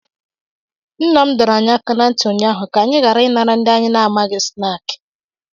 Nna m dọrọ anyị aka ná ntị ụnyaahụ ka anyị ghara ịnara ndị anyị amaghị snaakị